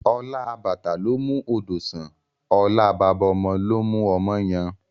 Ọlá àbàtà ló ń mú odò sàn, ọlá baba ọmọ ló ń mú ọmọ yan